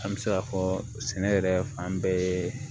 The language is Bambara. An bɛ se ka fɔ sɛnɛ yɛrɛ fan bɛɛ